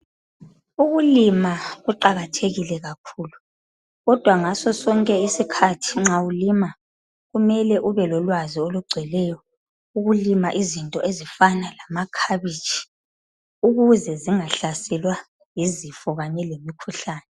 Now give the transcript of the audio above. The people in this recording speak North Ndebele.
Ukulima kuqakathekile kakhulu, kodwa ngasosonke isikhathi nxa ulima kumele ube lolwazi olugcweleyo, ukulima izinto ezifana lamakhabitshi ukuze zingahlaselwa yizifo kanye lemikhuhlane.